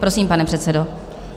Prosím, pane předsedo.